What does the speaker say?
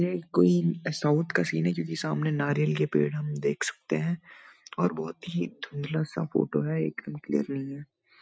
ये कोई साउथ का सीन है क्यूंकि सामने नारियल का पेड़ हम देख सकते हैं और बहोत ही धुंधला सा फोटो है एक दम क्लियर नहीं है।